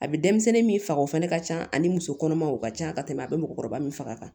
A bɛ denmisɛnnin min faga o fana ka ca ani muso kɔnɔmaw ka ca ka tɛmɛ a bɛ mɔgɔkɔrɔba min faga